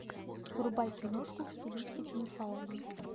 врубай киношку в стилистике мифологии